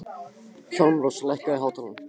Hjálmrós, lækkaðu í hátalaranum.